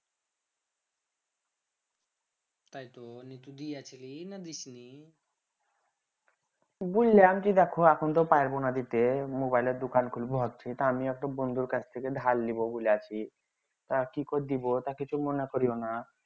তাই তো বুইল্লাম যে দেখো এখন তো পারবোনা দিতে mobile দোকান খুলবো ভাবছি তা আমিও একটু বন্ধুর কাছ থেকে ধার লিবো বলে ভাবছি কি করে দিবো তা কিছু মনে করিও না